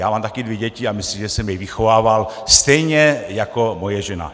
Já mám taky dvě děti a myslím, že jsem je vychovával stejně jako moje žena.